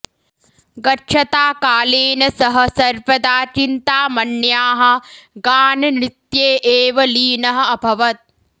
गच्छता कालेन सः सर्वदा चिन्तामण्याः गाननृत्ये एव लीनः अभवत्